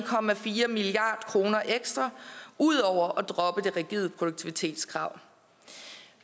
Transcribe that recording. milliard kroner ekstra ud over at droppe det rigide produktivitetskrav